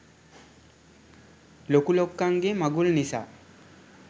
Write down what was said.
ලොකු ලොක්කන්ගේ මගුල් නිසා.